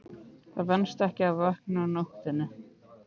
Það venst ekki að vakna á nóttunni.